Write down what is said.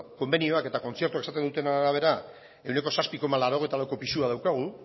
konbenioak eta kontzertuak esaten dutenaren arabera ehuneko zazpi koma laurogeita lauko pisua daukagu